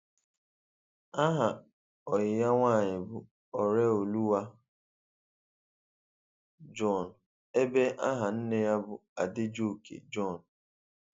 Aha oyi ya nwanyị bu Oreoluwa John, ebe aha nne ya bu Adejoke John.